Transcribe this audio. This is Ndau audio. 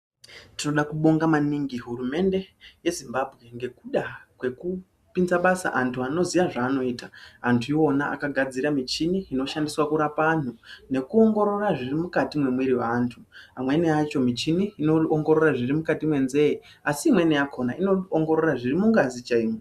Tinoda kubonga maningi hurumende yeZimbambwe ngekuda kwekupinza basa antu anoziya zvaanoita antu iwona akagadzira michini inoshandiswa kurapa anhu nekuongorora zviri mukati mwemwiri yevantu amweni acho michini inoongorore zviro mukati mwenzee asi imweni yakona inoongorora zviri mungazi chaimo.